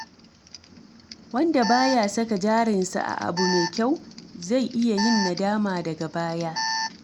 Wanda baya saka jarinsa a abu mai kyau, zai iya yin nadama daga baya.